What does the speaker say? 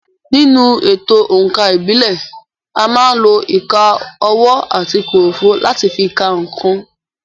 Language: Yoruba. Nínú èto òǹkà ìbílẹ̀, à má ń lo ìka ọwọ́ àti kòròfo láti fi ka nǹkan.